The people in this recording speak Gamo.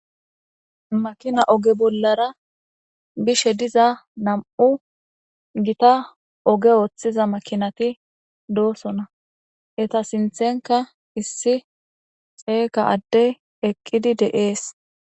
makina oge bollara bishe diza nam7u gita oge ooththiza makinati doosona eta sinthenka issi xeega adde eqqidi deees